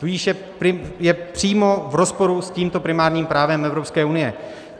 Tudíž je přímo v rozporu s tímto primárním právem Evropské unie.